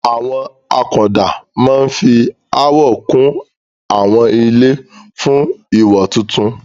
Àwọn akunọ̀ọ̀dà máa ń fi àwọ̀ kún àwọn ilé fún ìwò tuntun.